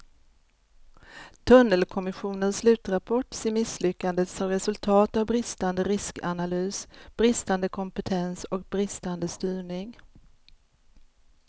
Tunnelkommissionens slutrapport ser misslyckandet som resultat av bristande riskanalys, bristande kompetens och bristande styrning.